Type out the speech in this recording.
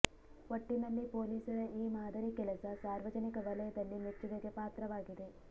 ಒಟ್ಟಿನಲ್ಲಿ ಪೊಲೀಸರ ಈ ಮಾದರಿ ಕೆಲಸ ಸಾರ್ವಜನಿಕ ವಲಯದಲ್ಲಿ ಮೆಚ್ಚುಗೆಗೆ ಪಾತ್ರವಾಗಿದೆ